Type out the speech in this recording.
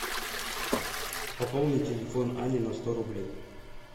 пополни телефон ани на сто рублей